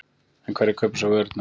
En hverjir kaupa svo vörurnar?